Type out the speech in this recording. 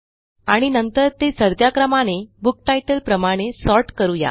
आणि नंतर ते चढत्या क्रमाने बुक तितले प्रमाणे सॉर्ट करू या